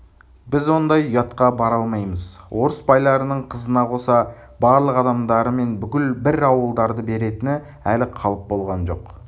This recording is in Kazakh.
біз ондай ұятқа бара алмаймыз орыс байларының қызына қоса барлық адамдары мен бүкіл бір ауылдарды беретіні әлі қалып болған жоқ